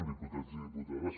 diputats i diputades